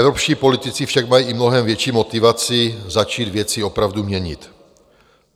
Evropští politici však mají i mnohem větší motivaci začít věci opravdu měnit.